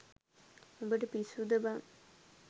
උඹට පිස්සුද බං